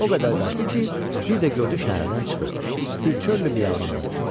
O qədər qaçdı ki, bir də gördü şəhərdən çıxıb bir çöllü biyabandadır.